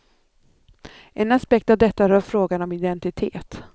En aspekt av detta rör frågan om identitet.